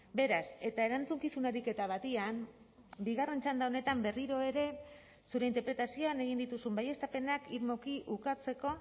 beraz eta erantzukizun ariketa batean bigarren txanda honetan berriro ere zure interpretazioan egin dituzun baieztapenak irmoki ukatzeko